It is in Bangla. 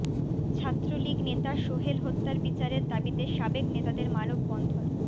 ছাত্রলীগ নেতা সোহেল হত্যার বিচারের দাবিতে সাবেক নেতাদের মানববন্ধন